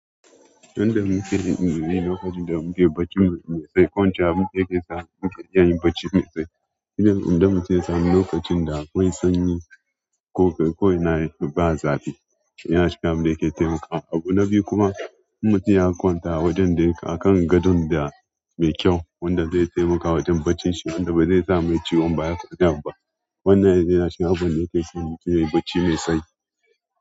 Inda muke yin irin wuri lokacin da muke bacci mai tsayi, kwanciya muke iya samun bacci mai tsayi. Idan mutum ya samu lokacin da akwai sanyi ko ina ba zafi, yana taimaka. Abu na biyu kuma, mutum ya kwanta a kan gadon da mai kyau wanda zai taimaka wajen bacinsa wanda ba zai sa mai ciwon baya kaɗan ba. Wannan yana shikin abubuwan da yake sa mutum yayi bacci mai tsayi.